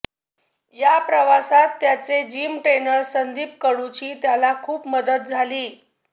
या प्रवासात त्याचे जिम ट्रेनर संदीप कडूची त्याला खूप मदत झाली